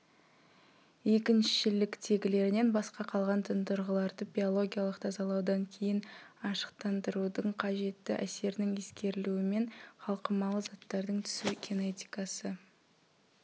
екіншіліктегілерінен басқа қалған тұндырғыларды биологиялық тазалаудан кейін ашықтандырудың қажетті әсерінің ескерілуімен қалқымалы заттардың түсу кинетикасы